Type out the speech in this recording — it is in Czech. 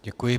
Děkuji.